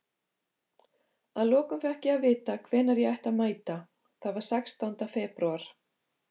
Að lokum fékk ég að vita hvenær ég ætti að mæta, það var sextánda febrúar.